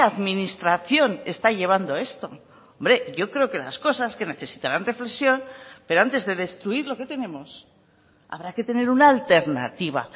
administración está llevando esto hombre yo creo que las cosas que necesitarán reflexión pero antes de destruir lo que tenemos habrá que tener una alternativa